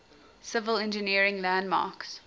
civil engineering landmarks